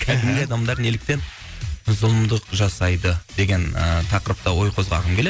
кәдімгі адамдар неліктен зұлымдық жасайды деген ы тақырыпта ой қозғағым келеді